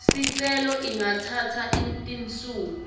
sicelo ingatsatsa tinsuku